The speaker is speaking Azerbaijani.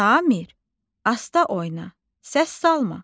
Samir, asta oyna, səs salma.